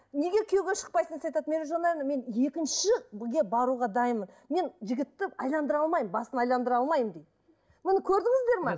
неге күйеуге шықпайсың десе айтады мен екіншіге баруға дайынмын мен жігітті айналдыра алмаймын басын айналдыра алмаймын дейді міне көрдіңіздер ме